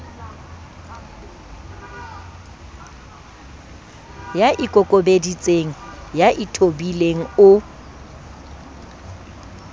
ya ikokobeditseng ya ithobileng o